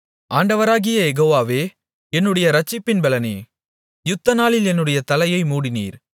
ஆண்டவராகிய யெகோவாவே என்னுடைய இரட்சிப்பின் பெலனே யுத்தநாளில் என்னுடைய தலையை மூடினீர்